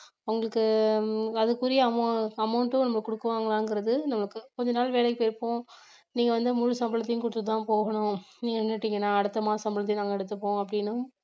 அவுங்களுக்கு அதுக்குரிய amou~ amount ம் நம்ம குடுக்குவாங்களாங்கிறது நமக்கு கொஞ்ச நாள் வேலைக்கு போயிருப்போம் நீங்க வந்து முழு சம்பளத்தையும் கொடுத்துதான் போகணும் நீங்க நின்னுட்டீங்கன்னா அடுத்த மாசம் சம்பளத்தையும் நாங்க எடுத்துப்போம் அப்படின்னும்